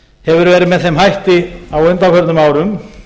hefur verið með þeim hætti á undanförnum árum